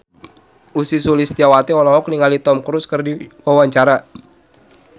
Ussy Sulistyawati olohok ningali Tom Cruise keur diwawancara